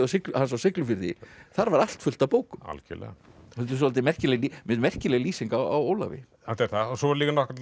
hans á Siglufirði þar var allt fullt af bókum svolítið merkileg merkileg lýsing á Ólafi þetta er það og svo